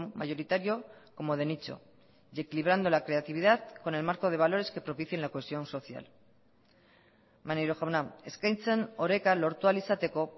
mayoritario como de nicho y equilibrando la creatividad con el marco de valores que propicien la cohesión social maneiro jauna eskaintzen oreka lortu ahal izateko